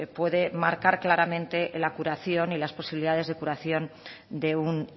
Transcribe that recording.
puede marcar claramente la curación y las posibilidades de curación de un